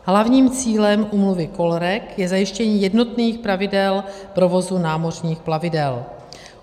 Hlavním cílem úmluvy COLREG je zajištění jednotných pravidel provozu námořních plavidel.